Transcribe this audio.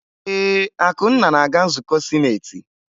Ee, Akunna na-aga nzukọ sinetị.